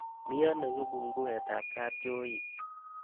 Miiano kibunkuweetab kabchooit